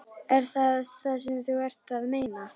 Er það það sem þú ert að meina?